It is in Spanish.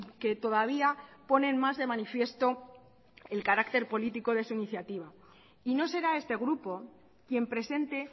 que todavía ponen más de manifiesto el carácter político de su iniciativa y no será este grupo quien presente